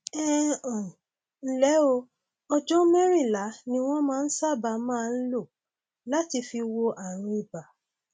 ẹ um ǹlẹ o ọjọ mẹrìnlá ni wọn sábà máa ń lò láti fi wo ààrùn ibà